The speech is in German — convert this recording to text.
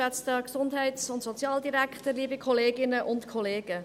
Ich gebe der Motionärin das Wort.